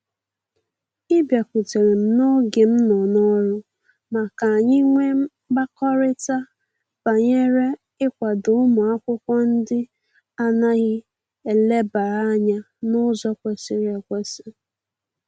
Ị bịakutere m n'oge m nọ n'ọrụ, ma ka anyị nwe mkpakọrịta banyere ịkwado ụmụ akwụkwọ ndị a naghị elebara anya n'ụzọ kwesịrị ekwesị